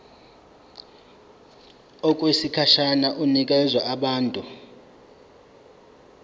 okwesikhashana inikezwa abantu